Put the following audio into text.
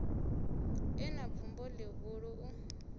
e na bvumo ḽihulu u